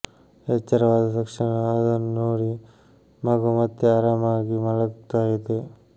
ಎಚ್ಚರವಾದ ತಕ್ಷಣ ಅದನ್ನ ನೋಡಿ ಮಗು ಮತ್ತೆ ಆರಾಮಾಗಿ ಮಲಗ್ತಾ ಇದೆ